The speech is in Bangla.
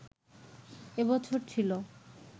এ বছর ছিলো